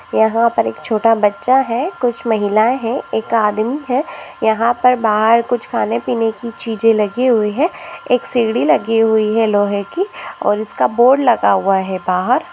यहा पर एक छोटा बच्चा है कुछ महिलाए है एक आदमी है यहा पर बाहर कुछ खाने पीने की चीजे लगी हुई है एक सीढ़ी लगी हुई है लोहे की और इसका बोर्ड लगा हुआ है बाहर --